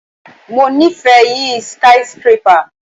Mo ni ife yi skyscrapper